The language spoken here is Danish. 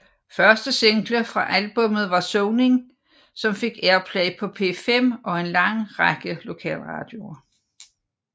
Første single fra albummet var Soning som fik airplay på P5 og en lang række lokalradioer